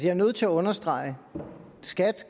er nødt til at understrege at skat